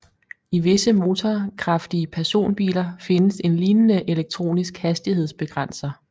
I visse motorkraftige personbiler findes en lignende elektronisk hastighedsbegrænser